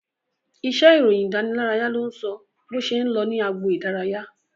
Iṣẹ́ ìròyìn ìdánilárayá ló ń sọ bó ṣe ń lọ ní agbo idaraya